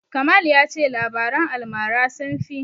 Kamal ya ce labaran almara sun fi.